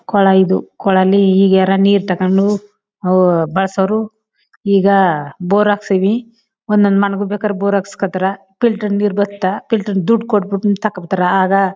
Cola ಇದು ಕೊಳಲಿ ಈಗ ಯಾರೋ ನೀರು ತಗೊಂಡು ಬಲಸವರು. ಈಗ ಬೋರ್ ಹಕ್ಸಿವಿ ಒಂದೊಂದ್ ಮನೆಗೂ ಬೇಕಾರೆ ಬೋರ್ ಹಕ್ಸ್ಕೊತಾರ ಫಿಲ್ಟರ್ ನೀರು ಬರ್ತದೆ ದೊಡ್ದು ಕೊಟ್ಟು ತಗೊಂಡ್ ಬರ್ತಾರಾ ಆಗ--